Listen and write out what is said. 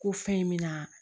Ko fɛn in mina